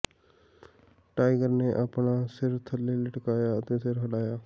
tiger ਨੇ ਆਪਣਾ ਸਿਰ ਥੱਲੇ ਲਟਕਾਇਆ ਅਤੇ ਸਿਰ ਹਿਲਾਇਆ